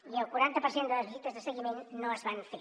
i el quaranta per cent de les visites de seguiment no es van fer